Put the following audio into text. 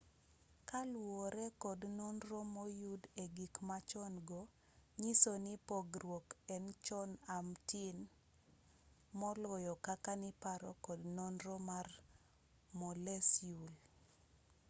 kaluwore kod nonro moyud egikmachon-go nyisoni pogruok en chon amtin moloyo kaka niparo kod nonro mar moleciul